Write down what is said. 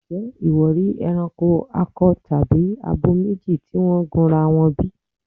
Ǹjẹ́ ìwọ rí ẹranko akọ tàbí abo méjì tí wọ́n gunra wọn bí?